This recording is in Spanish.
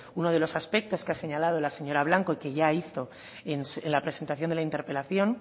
uno de los aspectos que ha señalado la señora blanco y que ya hizo en la presentación de la interpelación